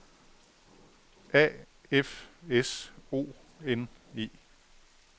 A F S O N E